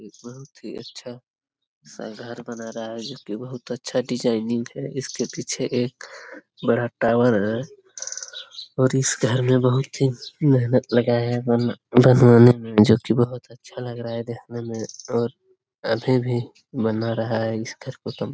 एक बहुत ही अच्छा सा घर बना रहा है जो कि बहुत अच्छा डिजाइनिंग है इसके पीछे एक बड़ा टॉवर और इस घर में बहुत ही मेहनत लगा है बन बनाने में जो कि बहुत अच्छा लग रहा है देखने में और अभी भी बना रहा है इस घर को तुम --